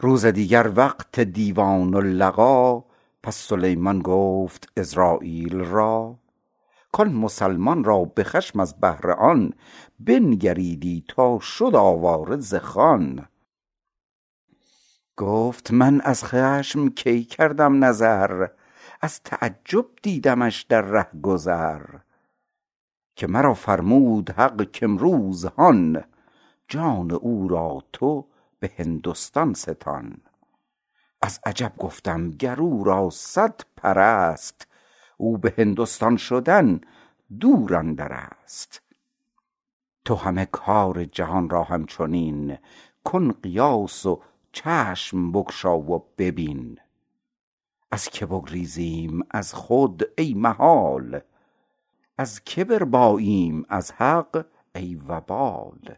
روز دیگر وقت دیوان و لقا پس سلیمان گفت عزراییل را کان مسلمان را به خشم از بهر آن بنگریدی تا شد آواره ز خان گفت من از خشم کی کردم نظر از تعجب دیدمش در رهگذر که مرا فرمود حق کامروز هان جان او را تو به هندستان ستان از عجب گفتم گر او را صد پر ست او به هندستان شدن دور اندرست تو همه کار جهان را همچنین کن قیاس و چشم بگشا و ببین از که بگریزیم از خود ای محال از که برباییم از حق ای وبال